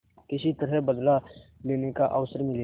किसी तरह बदला लेने का अवसर मिले